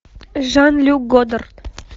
жан люк годар